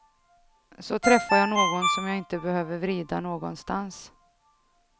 Så träffar jag någon som jag inte behöver vrida någonstans.